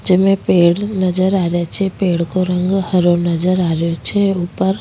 जेमे पेड़ नजर आ रेया छे पेड़ को रंग हरो नजर आ रेहो छे ऊपर --